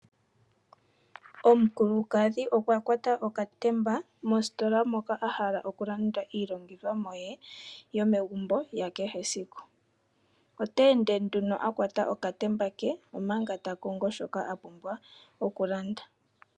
Omukulukadhi okwa kwata okatemba mositola moka a hala okulanda iilongithomwa ye yomegumbo ya kehesiku. Ote ende nduno a kwata okatemba ke, omanga ta kongo shoka a pumbwa okulanda.